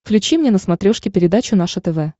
включи мне на смотрешке передачу наше тв